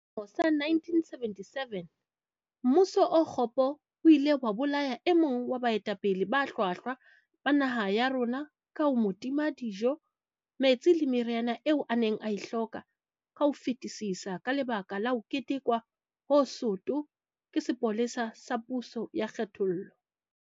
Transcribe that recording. Ka selemo sa 1977, mmuso o kgopo o ile wa bolaya e mong wa baetapele ba hlwahlwa ba naha ya rona ka ho mo tima dijo, metsi le meriana eo a neng a e hloka ka ho fetisisa ka lebaka la ho tetekwa ho soto ke sepolesa sa puso ya kgenthollo.